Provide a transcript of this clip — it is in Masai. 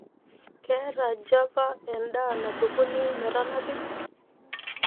keeta java edaa napikuni metanapi